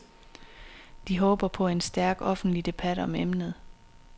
De håber på en stærk offentlig debat om emnet.